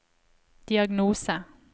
diagnose